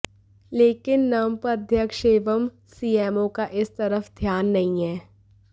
लेकिन नपं अध्यक्ष एवं सीएमओ का इस तरफ ध्यान नहीं है